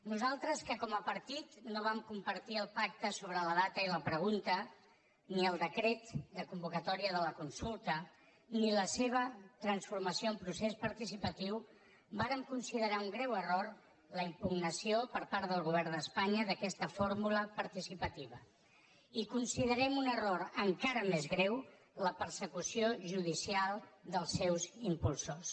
nosaltres que com a partit no vam compartir el pacte sobre la data i la pregunta ni el decret de convocatòria de la consulta ni la seva transformació en procés participatiu vàrem considerar un greu error la impugnació per part del govern d’espanya d’aquesta fórmula participativa i considerem un error encara més greu la persecució judicial dels seus impulsors